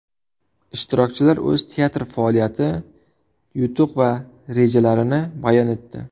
Ishtirokchilar o‘z teatri faoliyati, yutuq va rejalarini bayon etdi.